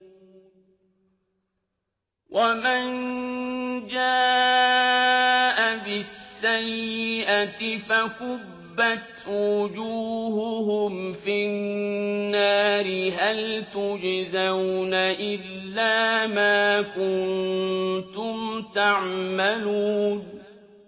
وَمَن جَاءَ بِالسَّيِّئَةِ فَكُبَّتْ وُجُوهُهُمْ فِي النَّارِ هَلْ تُجْزَوْنَ إِلَّا مَا كُنتُمْ تَعْمَلُونَ